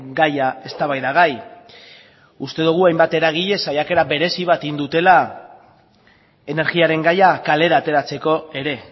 gaia eztabaidagai uste dugu hainbat eragile saiakera berezi bat egin dutela energiaren gaia kalera ateratzeko ere